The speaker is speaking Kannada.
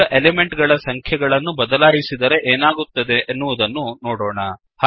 ಈಗ ಎಲಿಮೆಂಟ್ ಗಳ ಸಂಖ್ಯೆಗಳನ್ನು ಬದಲಾಯಿಸಿದರೆ ಏನಾಗುತ್ತದೆ ಎನ್ನುವುದನ್ನು ನೋಡೋಣ